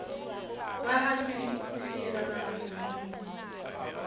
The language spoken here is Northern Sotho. ba ga se boseilakgaka senwamoro